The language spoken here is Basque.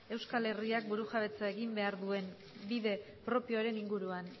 euskal herriak burujabetzara egin behar duen bide propioaren inguruan